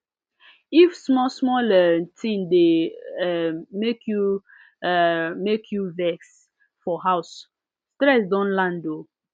if small small um thing dey um make you um make you vex for house stress don land um